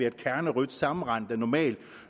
et kernerødt sammenrend der normalt